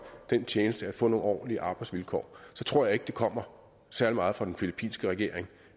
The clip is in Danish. den tjeneste at få nogle ordentlige arbejdsvilkår så tror jeg ikke det kommer særlig meget fra den filippinske regering